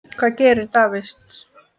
Hvað gerir Davids?